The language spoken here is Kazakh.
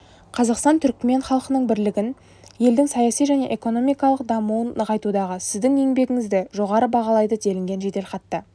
қазақстан түрікмен халқының бірлігін елдің саяси және экономикалық дамуын нығайтудағы сіздің еңбегіңізді жоғары бағалайды делінген жеделхатта